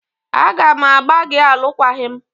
A ga m agbà gị alụkwaghịm!